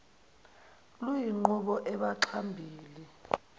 luyinqubo embaxa mbili